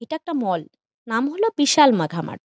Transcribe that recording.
এইটা একটা মল নাম হলো বিশাল মাখমাঠ ।